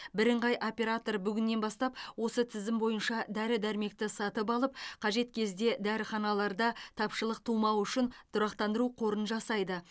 бірыңғай оператор бүгіннен бастап осы тізім бойынша дәрі дәрмекті сатып алып қажет кезде дәріханаларда тапшылық тумауы үшін тұрақтандыру қорын жасайды